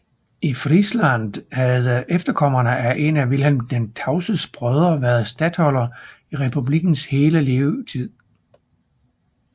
I Friesland havde efterkommerne af en af Vilhelm den Tavses brødre været statholder i republikkens hele tid